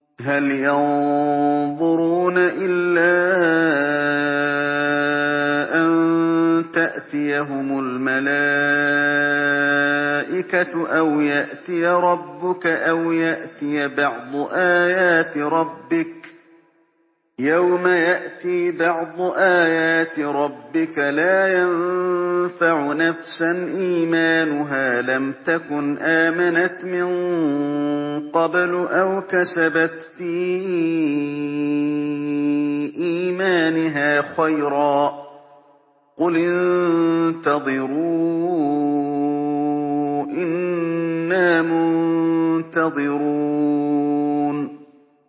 هَلْ يَنظُرُونَ إِلَّا أَن تَأْتِيَهُمُ الْمَلَائِكَةُ أَوْ يَأْتِيَ رَبُّكَ أَوْ يَأْتِيَ بَعْضُ آيَاتِ رَبِّكَ ۗ يَوْمَ يَأْتِي بَعْضُ آيَاتِ رَبِّكَ لَا يَنفَعُ نَفْسًا إِيمَانُهَا لَمْ تَكُنْ آمَنَتْ مِن قَبْلُ أَوْ كَسَبَتْ فِي إِيمَانِهَا خَيْرًا ۗ قُلِ انتَظِرُوا إِنَّا مُنتَظِرُونَ